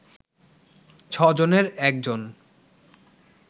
ছ’জনের একজন